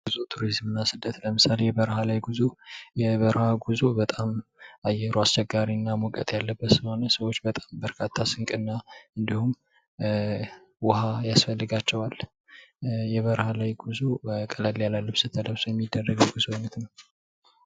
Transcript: ጉዞ ፣ ቱሪዝም እና ስደት ለምሳሌ የበረሃ ላይ ጉዞ ፦ የበረሃ ጉዞ በጣም አየሩ አስቸጋሪ እና ሙቀት ያለበት ስለሆነ ሰዎች በጣም በርካታ ስንቅ እና እንዲሁም ውሃ ያስፈልጋቸዋል። የበረሃ ላይ ጉዞ ቀለል ያለ ልብስ ተለብሶ የሚደረግ የጉዞ አይነት ነው ።